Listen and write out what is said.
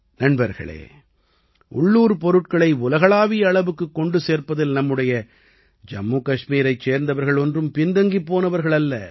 நண்பர்களே உள்ளூர்ப் பொருட்களை உலகளாவிய அளவுக்குக் கொண்டு சேர்ப்பதில் நம்முடைய ஜம்மு கஷ்மீரைச் சேர்ந்தவர்கள் ஒன்றும் பின் தங்கிப் போனவர்கள் அல்ல